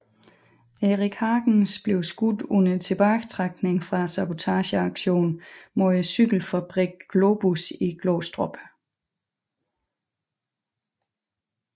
Erik Hagens blev skudt under tilbagetrækningen fra sabotageaktionen mod cykelfabrikken Globus i Glostrup